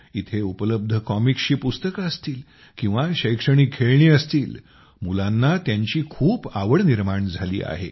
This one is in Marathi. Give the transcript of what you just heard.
इथं उपलब्ध कॉमिक्सची पुस्तकं असतील किंवा शैक्षणिक खेळणी असतील मुलांना त्यांची खूप आवड निर्माण झाली आहे